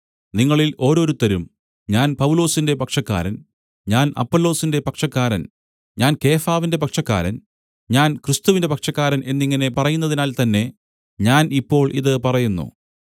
നിങ്ങളിൽ ഓരോരുത്തരും ഞാൻ പൗലൊസിന്റെ പക്ഷക്കാരൻ ഞാൻ അപ്പൊല്ലോസിന്റെ പക്ഷക്കാരൻ ഞാൻ കേഫാവിന്റെ പക്ഷക്കാരൻ ഞാൻ ക്രിസ്തുവിന്റെ പക്ഷക്കാരൻ എന്നിങ്ങനെ പറയുന്നതിനാൽ തന്നെ ഞാൻ ഇപ്പോൾ ഇത് പറയുന്നു